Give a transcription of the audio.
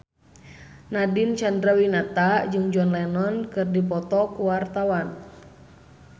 Nadine Chandrawinata jeung John Lennon keur dipoto ku wartawan